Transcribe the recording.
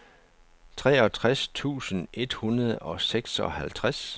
treogtres tusind et hundrede og seksoghalvtreds